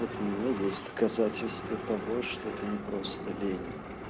вот у меня есть доказательства того что это не просто лень